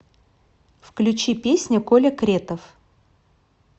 включи песня коля кретов